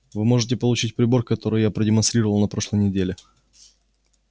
вы можете получить прибор который я продемонстрировал на прошлой неделе